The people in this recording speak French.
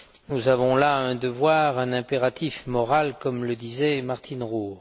Nous avons là un devoir, un impératif moral, comme le disait Martine Roure.